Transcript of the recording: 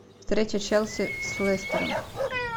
встреча челси с лестером